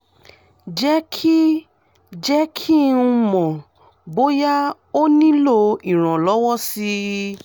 jẹ́ kí jẹ́ kí n mọ̀ bóyá o nílò ìrànlọ́wọ́ sí i